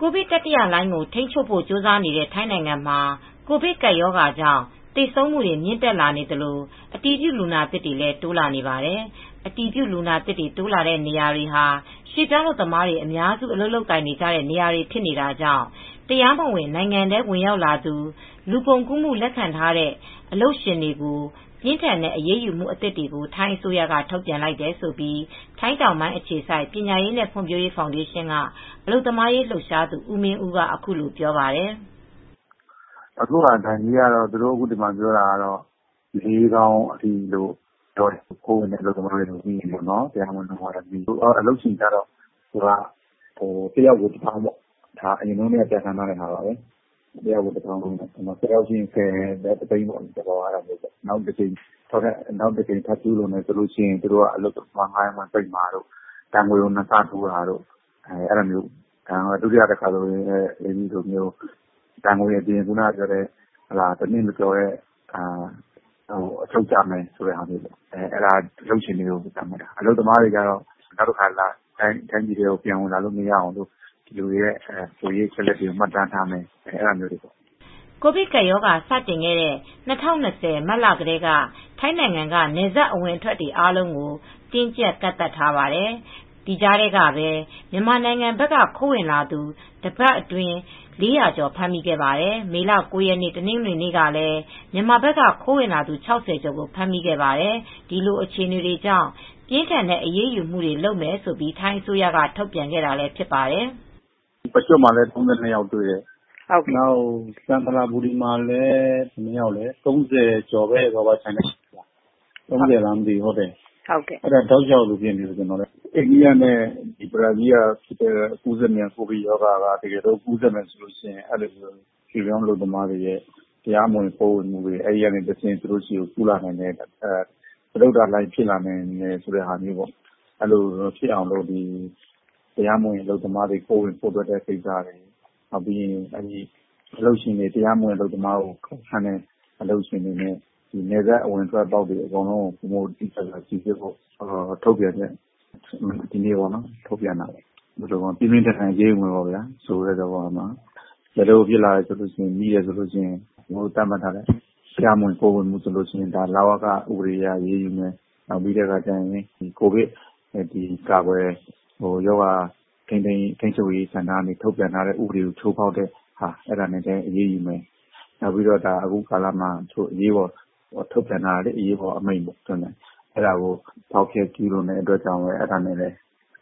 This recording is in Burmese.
ကိုဗစ် တတိယလှိုင်းကို ထိန်းချုပ်ဖို့ကြိုးစားနေတဲ့ ထိုင်းနိုင်ငံမှာ ကိုဗစ်ကပ်ရောဂါကြောင့် သေဆုံးမူတွေ မြင့်တက် လာနေသလို၊ အတည်ပြုလူနာသစ်တွေလည်း တိုးနေပါတယ်။ အတည်ပြုလူနာသစ်တွေ တိုးတဲ့နေရာတွေဟာ ရွှေ့ပြောင်းအလုပ်သမားတွေ အများစု အလုပ်လုပ်ကြတဲ့ နေရာတွေ ဖြစ်နေတာကြောင့် တရားမဝင် နိုင်ငံထဲ ဝင်ရောက်သူ၊ လူကုန်ကူးမှု လက်ခံထားတဲ့အလုပ်ရှင်တွေကို ပြင်းထန်တဲ့အရေးယူမူ အသစ်တွေကို ထိုင်းအစိုးရက ထုတ်ပြန်လိုက်တယ်လို့ ထိုင်းတောင်ပိုင်းအခြေစိုက် ပညာရေးနဲ့ ဖွံ့ဖြိုးရေးဖောင်ဒေးရှင်းက အလုပ်သမားရေးလှုပ်ရှားသူ ဦးမင်းဦးက အခုလိုပြောပါတယ်။ “အခု ဒဏ်ကြေးကတော့ ဘတ်ငွေ ၄သောင်းအထိ လို့ပြောတယ်။ ခိုးဝင်တဲ့ အလုပ်သမားတွေ တရားမဝင် အလုပ်သမားတွေ ကိုပေါ့၊ အလုပ်ရှင်ကတော့ တယောက်ကို တသောင်း ၁၀ ယောက်ဆိုရင် တသိန်းပေါ့။ နောက်တကြိမ် ထပ်ကျူးလွန်ရင်တော့ အလုပ်သမားဌားရမ်းခွင့် ပိတ်တာတို့ ဒဏ်ငွေကို နှစ်ဆတိုးတာတို့ ဒုတိယအကြိမ်ဆိုရင်တော့ တနှစ်မကျော်တဲ့ အချုပ်ကျမှာတို့ပေါ့။ အလုပ်ရှင်တွေ အတွက် ပြောတာ အလုပ်သမားတွေ အတွက်ကတော့ နောက်တကြိမ်တိုင်းပြည်ထဲကို ပြန်ဝင်လို့ မရအောင် ကိုယ်ရေးအချက်အလက်တွေကို မှတ်တမ်းထားမယ်ဆိုတာတွေပါတယ်။” ကိုဗစ်ကပ်ရောဂါ စတင်ခဲ့တဲ့ ၂၀၂၀ မတ်လထဲက ထိုင်းနိုင်ငံက နယ်စပ်အဝင်အထွက်တွေ အားလုံးကို တင်းကြပ် ကန့်သတ်ထားပါတယ်။ ဒီကြားထဲကပဲ မြန်မာနိုင်ငံဘက်က ခိုးဝင်လာသူ တပတ်အတွင်း ၄၀၀ ကျော် ဖမ်းမိခဲ့ပါတယ်။ မေလ ၉ ရက် တနင်္ဂနွေနေ့ကလည်း မြန်မာဘက်က ခိုးဝင်လာသူ ၆၀ ကျော် ကို ဖမ်းမိပါတယ်။ ဒီလိုအခြေအနေတွေကြောင့် ပြင်းထန်တဲ့အရေးယူမှုတွေလုပ်မယ်လို့ ထိုင်းအစိုးရက ထုတ်ပြန်တာဖြစ်ပါတယ်။ “ပကျွတ်မှာလည်း ၃၂ ယောက်တွေ့တယ်။ ကန်ချနဘူရီဘက်မှာလည်း ၃၀ ကျော်တယ်။ အဲဒါ တောက်လျောက်လို ဖြစ်နေတယ်။ အိန္ဒိယ၊ ဘရာဇီးနဲ့ ကူးစက်မြန် ကိုဗစ်ရောဂါကူးစက်မယ်ဆိုရင် တရားမဝင် ရွှေ့ပြောင်းအလုပ်သမားတွေကနေ တဆင့်သူတို့ဆီ ကူးစက်လာနိုင်မယ်။ စတုတ္ထလှိုင်းဖြစ်လာနိုင်မယ်တို့ အဲဒီလို ဖြစ်လာနိုင်မယ်တို့ ၊ အဲဒီလိုမဖြစ်လာအောင် တရားမဝင်အလုပ်သမား ခိုးဝင်ခိုးထွက် တာတွေ အလုပ်ရှင်တွေကတော့တရားမဝင်အလုပ်သမားခန့်တဲ့ အလုပ်ရှင်တွေနဲ့ နယ်စပ်အပေါက်တွေ စီစစ်ဖို့ ထုတ်ပြန်ချက် ဒီနေ့ထုတ်ပြန်တာပေါ့။ ပြင်းပြင်းထန်ထန် အရေးယူမယ်ပေါ့၊ ဖြစ်လာရင် မိလာရင် သတ်မှတ်ထားတဲ့ တရားမဝင် ခိုးဝင်လာရင် လဝက ဥပဒေနဲ့ အရေးယူမယ်။ ကိုဗစ်ရောဂါ ထိမ်းချုပ်ရေးနဲ့လည်း အရေးယူမယ်။ အခုကာလမှာ အရေးပေါ် အမိန့်ထုတ်ပြန်ထားတာ ဖောက်ဖျက်ကျူးလွန်တဲ့အတွက်လည်း အဲဒါနဲ့လည်း